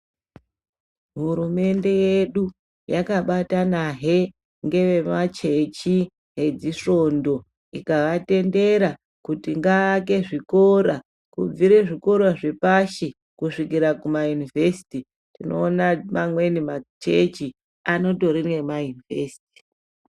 Hurumende yedu yakabatanahe ngevemachechi edzisvondo ikavatendera kuti ngaake zvikora kubvire zvikora zvepashi kusvikifa Kuma univhesiti, tinoona amweni machechi anotori nema univhesiti.